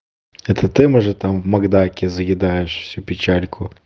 это ты может там в макдаке заедаешь всю печальку